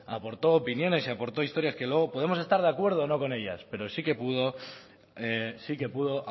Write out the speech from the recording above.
aportó opiniones y aportó historias que luego podemos estar de acuerdo o no con ellas pero sí que pudo